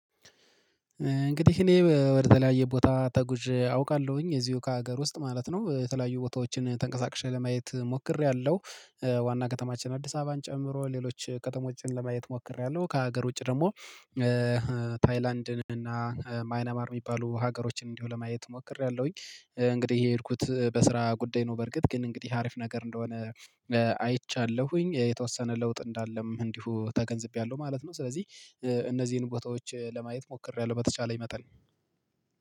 እንግዲህ እኔ ወደ ተለያየ ቦታ ተጉዤ አውቃለሁኝ እዚሁ ከሀገር ውስጥ ማለት ነው የተለያዩ ቦታዎችን ተንቀሳቅሼ ለማየት ሞክሬያለሁ ዋና ከተማችን አዲስ አበባን ጨምሮ ሌሎች ከተሞችን ለማየት ሞክሬያለሁ ከሀገር ውጪ ደሞ። ታይላንድን እና ማይናማር ሚባሉ ሀገሮችን እንዲሁ ለማየት ሞክሬያለሁኝ። እንግዲህ የሄድኩት በስራ ጉዳይ ነው። በርግጥ ግን እንግዲህ አሪፍ ነገር እንደሆነ። አይቻለሁኝ የተወሰነ ለውጥ እንዳለም እንዲሁ ተገንዝቤያለሁ ማለት ነው። ስለዚህ እነዚህን ቦታዎች ለማየት ሞክሬያለሁ በተቻለኝ መጠን።